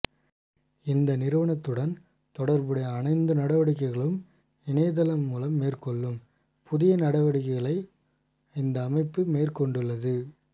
இந்நிறுவனத்துடன் தொடர்புடைய அணைந்து நடைவடிக்கைகளும் இணையதளம் மூலம் மேற்கொள்ளும் புதிய நடவடிக்கையை இந்த அமைப்பு மேற்கொண்டுள்ளது